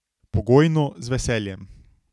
Pogojno, z veseljem.